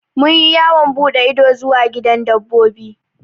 Mun yi yawon buɗe ido zuwa gidan dabbobi.